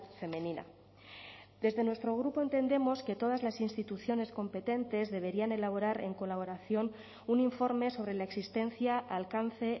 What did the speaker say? femenina desde nuestro grupo entendemos que todas las instituciones competentes deberían elaborar en colaboración un informe sobre la existencia alcance